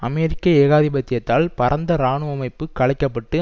அமெரிக்க ஏகாதிபத்தியத்தால் பரந்த இராணுவ அமைப்பு கலைக்கப்பட்டு